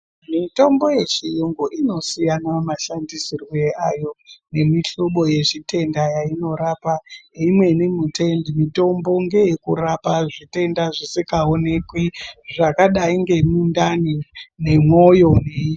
Mitombo yechiyungu inosiyana mashandisirwe ayo nemihlobo yezvitenda yeinorapa. Imweni mitombo ngeyekurapa zvitenda zvisikaonekwi zvakadai ngemundani nemwoyo.